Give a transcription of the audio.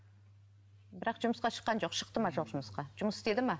бірақ жұмысқа шыққан жоқ шықты ма жоқ жұмысқа жұмыс істеді ме